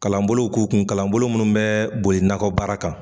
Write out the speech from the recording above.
Kalanbolow k'u kun kalanbolo munnu bɛ boli nakɔbaara kan